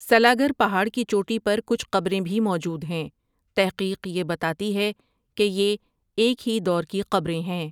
سلاگر پہاڑ کی چوٹی پر کچھ قبریں بھی موجود ہیں تحقیق یہ بتاتی ہے کہ یہ ایک ہی دور کی قبریں ہیں ۔